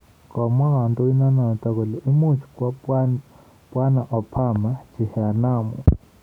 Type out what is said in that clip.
Komwaa kondionoton kole imuuch kwo Bw Obama chehanamu